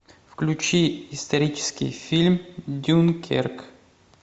включи исторический фильм дюнкерк